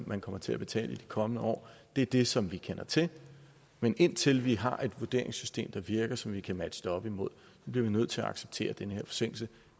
man kommer til at betale i de kommende år er det som vi kender til men indtil vi har et vurderingssystem der virker som vi kan matche det op imod bliver vi nødt til at acceptere den her forsinkelse